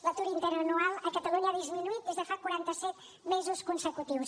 l’atur interanual a catalunya ha disminuït durant quaranta set mesos consecutius